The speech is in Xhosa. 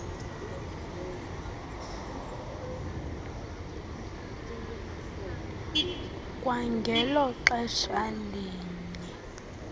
kwangelo xesha linye